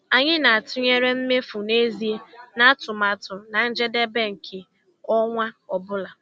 Anyị na-atụnyere mmefu n'ezie na atụmatụ na njedebe nke ọnwa ọ bụla.